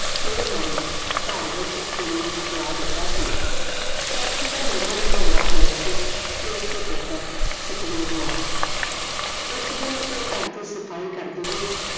ਕਈ ਵਾਰੀ ਘਰ ਵਿਚ ਕਲੇਸ਼ ਪਵਾ ਦਿੱਤਾ ਸੀ ਕੈਥੀ ਦਾ ਨਵਾਂ ਨਵਾਂ ਵਿਆਹ ਹੋਇਆ ਸੀ ਉਸ ਦੇ ਪੁੱਤਰ ਸਤਵੀਰ ਨਾਲ ਇੱਕ ਦਿਨ ਉਹ ਘਰ ਦੀ ਸਫਾਈ ਕਰਦੀ ਹੋਈ